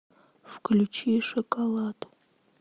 включи шоколад